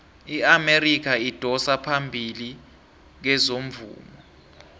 iamerika idosa phambili kezomvumo